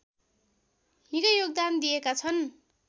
निकै योगदान दिएका छन्